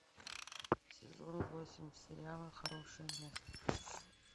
сезон восемь сериала хорошее место